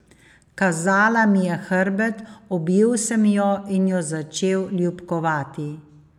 Kazala mi je hrbet, objel sem jo in jo začel ljubkovati.